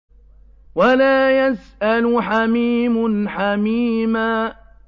وَلَا يَسْأَلُ حَمِيمٌ حَمِيمًا